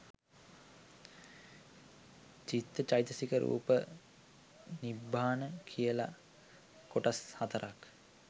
චිත්ත චෛතසික රූප නිබ්බාන කියල කොටස් හතරක්